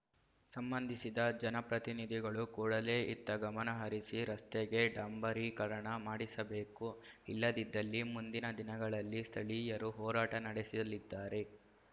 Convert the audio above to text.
ಸಂಬಂಧಿಸಿದ ಜನಪ್ರತಿನಿಧಿಗಳು ಕೂಡಲೇ ಇತ್ತ ಗಮನಹರಿಸಿ ರಸ್ತೆಗೆ ಡಾಂಬರೀಕರಣ ಮಾಡಿಸಬೇಕು ಇಲ್ಲದಿದ್ದಲ್ಲಿ ಮುಂದಿನ ದಿನಗಳಲ್ಲಿ ಸ್ಥಳೀಯರು ಹೋರಾಟ ನಡೆಸಲಿದ್ದಾರೆ